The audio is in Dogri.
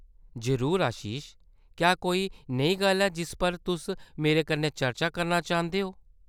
जरूर आशीष, क्या कोई नेही गल्ल ऐ जिस पर तुस मेरे कन्नै चर्चा करना चाह्दे ओ ?